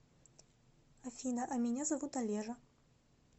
афина а меня зовут олежа